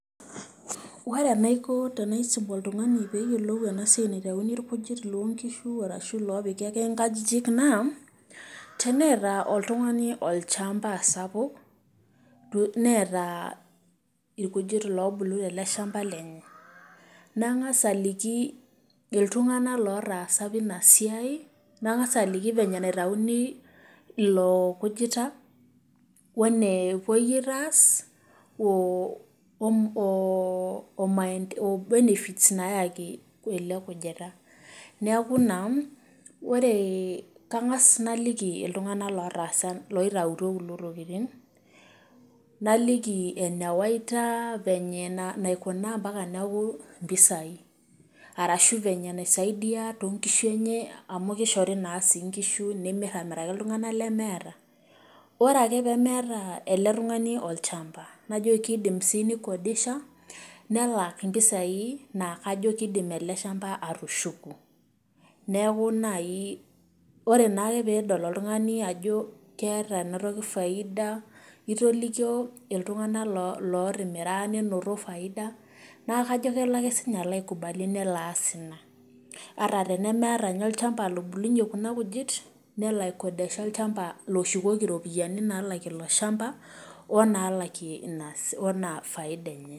Ore enaiko tenaisum oltung'ani pee yolou ena siai naitauni irkujit loo nkishu arashu loopik ake nkajijik naa teneeta oltung'ani olchamba sapuk, neeta irkujit loobulu tele shamba lenye, nang'asa aliki iltung'anak lotaasa apa ina siai, nang'as aliki venye naitauni ilo kujita wo enepuoi aitaas woo wo woo maende o benefits nayaki ele kujita. Neeku ina mm kang'as naliki iltung'anak lotaasa loitautuo kulo tokitin, naliki ene waita venye naikuna mpaka neeku mpisai arashu venye naisaidia too nkishu enye amu kishori naa sii nkishu, nimir amiraki iltung'anak lemeeta. Ore ake pee meeta ele tung'ani olchamba najo kiidim sii ni kodisha nelak mpisai naa kajo kiidim ele shamba atushuku. Neeku nai ore naake peedol oltung'ani ajo keeta ena toki faida itolioko iltung'anak lootimira ninoto faida naa kajo kelo ake sinye alo ai kubali nelo aas ina ata tenemeeta ninye olchamba lobulunye kuna kujit nelo ai kodesha olchamba loshukoki iropiani naalakie ilo shamba o naalakie ina wo ina faida enye.